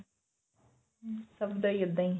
ਸਭ ਦਾ ਹੀ ਇੱਦਾਂ ਹੀ